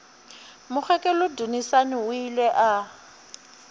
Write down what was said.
mokgekolo dunusani o ile a